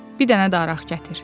bir dənə də araq gətir.